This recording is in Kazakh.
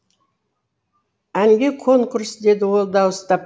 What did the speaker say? әнге конкурс деді ол дауыстап